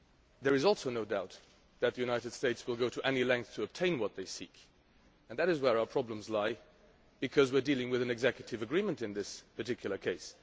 There is also no doubt that the United States will go to any length to obtain what it seeks and that is where our problems lie, because we are dealing with an executive agreement in this particular case.